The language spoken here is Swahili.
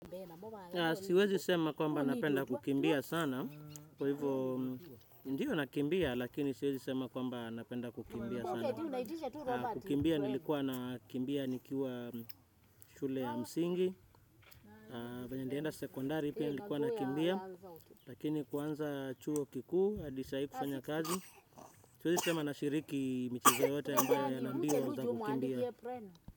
Siwezi sema kwamba napenda kukimbia sana. Kwa hivyo ndio nakimbia lakini siwezi sema kwamba napenda kukimbia sana. Kukimbia nilikuwa nakimbia nikiwa shule ya msingi venye nilienda sekondari pia nilikuwa nakimbia. Lakini kuanza chuo kikuu, hadi sahii kufanya kazi. Siwezi sema nashiriki micheze yote ambayo na mbio za kukimbia.